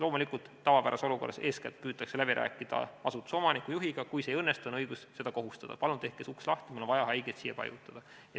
Loomulikult, tavapärases olukorras püütakse eeskätt läbi rääkida asutuse omaniku, juhiga, aga kui see ei õnnestu, on õigus kohustada: palun tehke see uks lahti, mul on vaja haigeid siia paigutada.